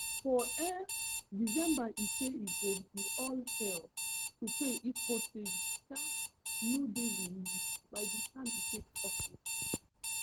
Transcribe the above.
for um december e say e go be all hell to pay if hostages um no dey released by di time e take office